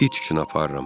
İt üçün aparıram.